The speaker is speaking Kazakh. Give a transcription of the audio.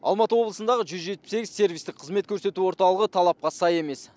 алматы облысындағы жүз жетпіс сегіз сервистік қызмет көрсету орталығы талапқа сай емес